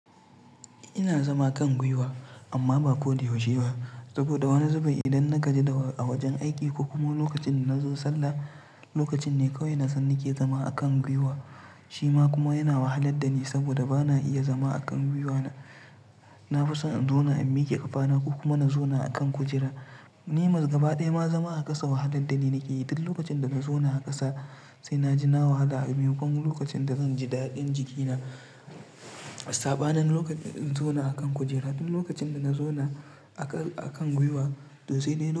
Ina zama kan guiwa. Amma ba ko da yaushe ba saboda woni zubi idan na gaji da a wojen aiki ko kuma lokacin da na zo sallah, lokacin ne kawai na san ni ke zama akan guiwa. Shi ma kuma yana wahalar da ni saboda ba na iya zama akan guiwa na. Na fi son in zauna in miƙe ƙafana ko kuma na zauna akan kujera. Ni ma gaba ɗaya ma zama a ƙasa wahalar da ni nake yi. Duk lokacin da na zauna a ƙasa sai na ji na wahala a gun kuma lokacin da zan ji daɗin jikina. Saban lokacin in zauna akan kujera duk lokacin da na zauna akan, akan guiwa to sai dai lo.